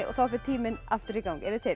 þá fer tíminn aftur í gang eruð þið til